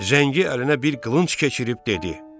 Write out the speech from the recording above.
Zəngi əlinə bir qılınc keçirib dedi: